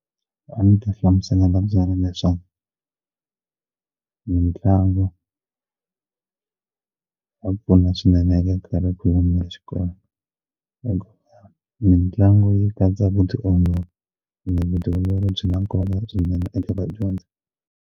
A ni ta hlamusela na byona leswaku mitlangu ya pfuna swinene ka nkarhi ya xikolweni eka mitlangu yi katsa vutiolori ene vutiolori byi nga kona swinene eka vadyondzi.